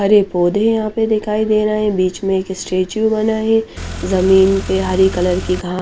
हरे पोधे वहा पर दिखाई दे रहे है बिच में एक स्टेच्यु बना है ज़मीन पे हरी कलर की घास --